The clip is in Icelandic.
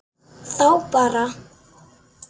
Þá bar